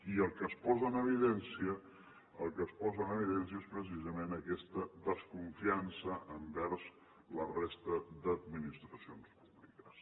i el que es posa en evidència el que es posa en evidència és precisament aquesta desconfiança envers la resta d’administracions públiques